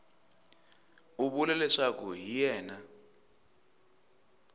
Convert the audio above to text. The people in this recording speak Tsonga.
u vula leswaku hi yena